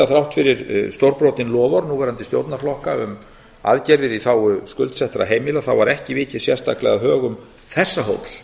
þrátt fyrir stórbrotin loforð núverandi stjórnarflokka um aðgerðir í þágu skuldsettra heimila var ekki vikið sérstaklega að högum þessa hóps